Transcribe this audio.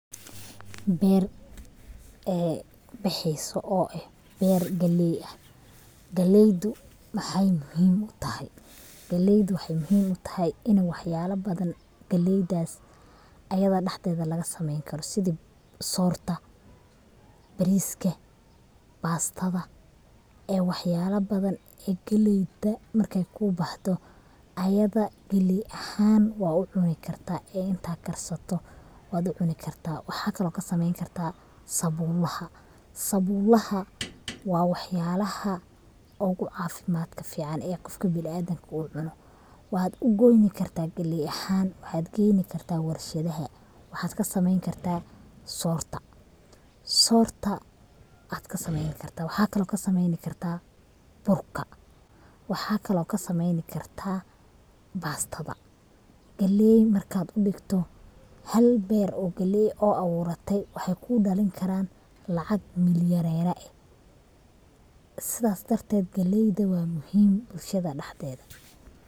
Beer, bexeyso oo ah beer galey ah, galeydu maxay muhim utahay, galeydu waxay muhim utahay ini wax yala badan ayada laga sameeyn karo ,sidi soorta, bariska ,bastada ee wax yala badan galeyda markay kuu baxdo ayada galey ahaan wa ucuni karta intad karsato wad ucuni karta, waxa kale od kasameeyn kartaa sabuulaha, sabuulaha waa wax yalaha ogu caafimadka fican ee qofka bini adamka uu cuno, wad ogoyni karta galey ahan, waxad geyni kartaa warshadaha, waxad kasameeyni kartaa soorta, soorta ad kasameeyni kartaa, waxa kale od kasameeyni kartaa burka, waxa kale od kasameeyni kartaa bastadada. Galey markad udhigto hal beer oo galey oo abuuratay waxay kudhalin karaan lacag milyonara eh, sidass darted galeyda waa muhim bulshadaa dhaxdeeda